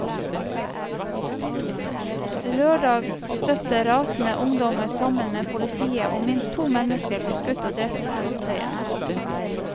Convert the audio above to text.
Lørdag støtte rasende ungdommer sammen med politiet og minst to mennesker ble skutt og drept i opptøyene.